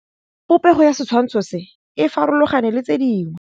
Popêgo ya setshwantshô se, e farologane le tse dingwe.